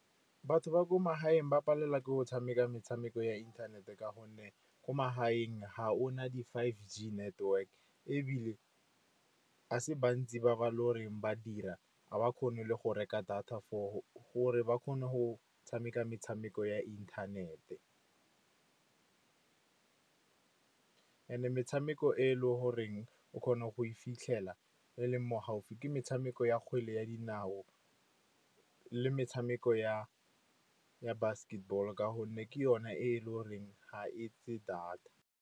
Batho ba ko magaeng ba palelwa ke go tshameka metshameko ya inthanete ka gonne ko magaeng ga ona di five G network, ebile ga se bantsi ba ba le goreng ba dira, ga ba kgone le go reka data gore ba kgone go tshameka metshameko ya inthanete. And-e metshameko e le goreng o kgona go e fitlhela e le mo gaufi ke metshameko ya kgwele ya dinao le metshameko ya basketball, ka gonne ke yone e le goreng ga e tseye data.